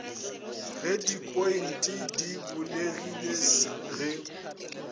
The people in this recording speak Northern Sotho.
ge dipointe di bulegile ge